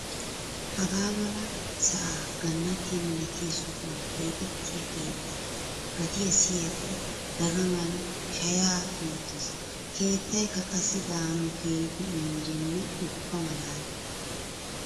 Hagaa mala sa'a gannattiya milattiya sohuwan keexxettiya keettaa gatiya siyikko dagamay shaya duuttees. Keettaykka qassi daanawu keehippe injjenne ubba malaalla.